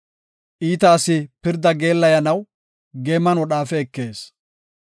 Iita asi pirda geellayanaw geeman wodhaafe ekees.